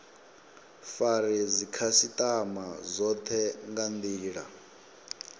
fare dzikhasitama dzothe nga ndila